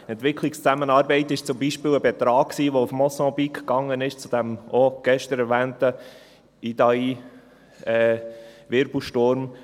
Entwicklungszusammenarbeit, das war zum Beispiel ein Betrag, der nach Mosambik ging, zu diesem auch gestern erwähnten Idai-Wirbelsturm.